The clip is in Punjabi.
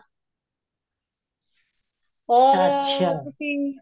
ਹੋਰ ਤੁਸੀਂ ਹਾਂਜੀ